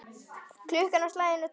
Klukkan á slaginu tólf.